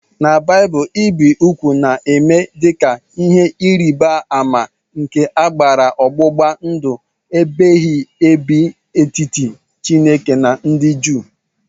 N' baaibul ibi ụgwụ na-eme dika ihe ịrịba ama nke akara ọgbụgba ndụ ebighị ebi n'etiti chineke na ndị Jew.